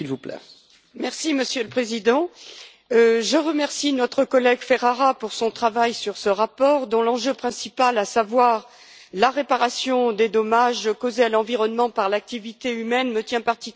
Monsieur le Président, je remercie notre collègue Laura Ferrara pour son travail sur ce rapport, dont l'enjeu principal, à savoir la réparation des dommages causés à l'environnement par l'activité humaine, me tient particulièrement à cœur.